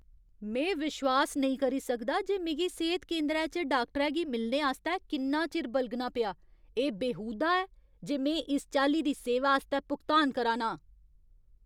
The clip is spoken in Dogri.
में विश्वास नेईं करी सकदा जे मिगी सेह्‌त केंदरै च डाक्टरै गी मिलने आस्तै किन्ना चिर बलगना पेआ! एह् बेहूदा ऐ जे में इस चाल्ली दी सेवा आस्तै भुगतान करा ना आं।"